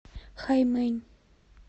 хаймэнь